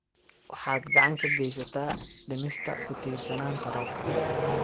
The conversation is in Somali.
Waxaad gacan ka geysataa dhimista ku tiirsanaanta roobka.